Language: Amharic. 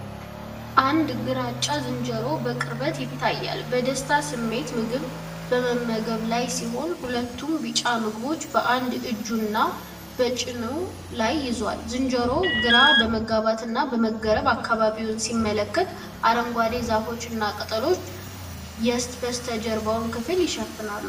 አንድ ግራጫ ዝንጀሮ በቅርበት ይታያል። በደስታ ስሜት ምግብ በመመገብ ላይ ሲሆን፣ ሁለቱን ቢጫ ምግቦች በአንድ እጁና በጭኑ ላይ ይዟል። ዝንጀሮው ግራ በመጋባትና በመገረም አካባቢውን ሲመለከት፣ አረንጓዴ ዛፎችና ቅጠሎች የበስተጀርባውን ክፍል ይሸፍናሉ።